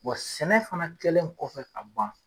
Wa sɛnɛ fana kɛlen kɔfɛ ka ban.